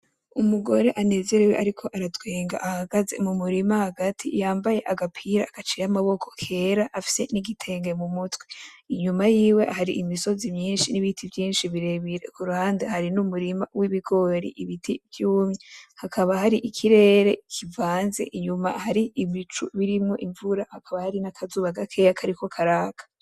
Umugore anezerewe ariko aratwenga ahagaze mumurima hagati yambaye agapira gaciye amaboko kera afise n'igitenge mu mutwe . Inyuma yiwe hari imisozi myinshi n’ibiti vyinshi birebire, kuruhande hari n'umurima w’ibigori, ibiti vy'umye . Hakaba hari ikirere kivanze inyuma hari ibicu birimwo imvura hakaba hari nakazuba gakeya kariko karaka .